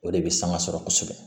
O de bɛ sanga sɔrɔ kosɛbɛ